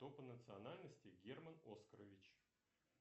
кто по национальности герман оскарович